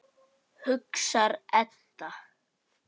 hugsar Edda.